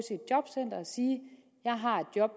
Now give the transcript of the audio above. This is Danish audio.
sige jeg har et job